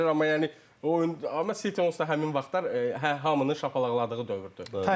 Amma yəni o oyun onsuz da həmin vaxtlar hamını şapalaqladığı dövrdür.